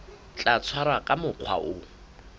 tla tshwarwa ka mokgwa o